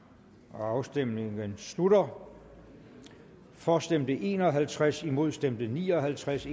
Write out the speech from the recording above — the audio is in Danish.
afstemningen slutter for stemte en og halvtreds imod stemte ni og halvtreds